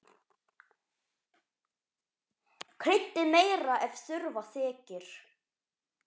Kryddið meira ef þurfa þykir.